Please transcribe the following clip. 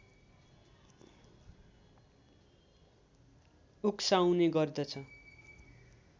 उक्साउने गर्दछ